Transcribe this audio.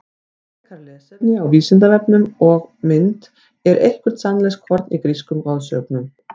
Frekara lesefni á Vísindavefnum og mynd Er eitthvert sannleikskorn í grísku goðsögunum?